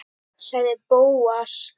sagði Bóas.